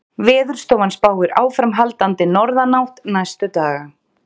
Veðurstofan spáir áframhaldandi norðanátt næstu daga